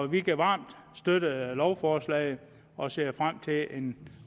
vi kan varmt støtte lovforslaget og ser frem til en